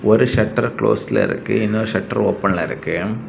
ஒரு ஷட்டரு க்ளோஸ்ல இருக்கு இன்னொரு ஷட்டரு ஓபன்ல இருக்கு.